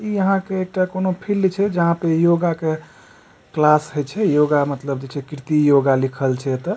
यहां के एकटा कोनो फील्ड छे जहाँ पे योगा क क्लास होइ छे योगा मतलब जे छे कीर्ति योगा लिखल छे ए त।